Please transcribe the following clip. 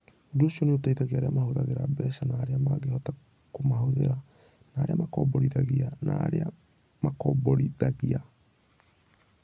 Ũndũ ũcio nĩ ũteithagia arĩa mahũthagĩra mbeca na arĩa mangĩhota kũmahũthĩra, na arĩa makomborithagia na arĩa angĩ makomborithagia.